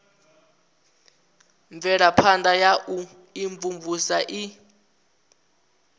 mvelaphana ya u imvumvusa i